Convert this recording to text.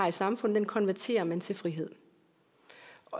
i samfundet konverterer man til frihed